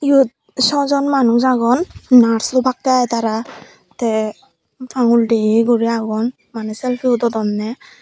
eyot sojon manus agon nurse obakkey i tara tey angul degeye gurey agon maneh selfie udodonney.